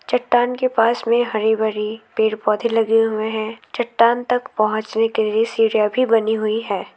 चट्टान के पास में हरी भरी पेड़ पौधे लगे हुए हैं चट्टान तक पहुंचाने के लिए सीढ़ियां भी बनी हुई है।